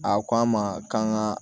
A ko an ma k'an ka